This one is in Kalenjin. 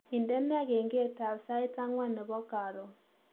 Indene kengetab sait angwan nebo karon